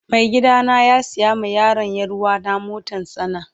Mai gida na ya siya ma yaron yaruwana motar tsana.